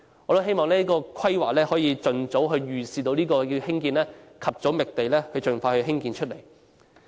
我希望有關規劃能預視這項目，及早覓地，盡快興建。